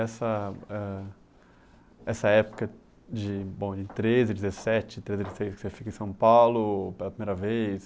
hân, essa época de bom de treze, dezessete, treze você fica em São Paulo pela primeira vez,